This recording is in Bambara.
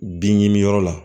Bin ɲiniyɔrɔ la